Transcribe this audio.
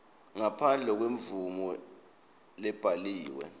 ngaphandle kwemvumo lebhaliwe